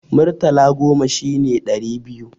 Murtala goma shine ɗari biyu.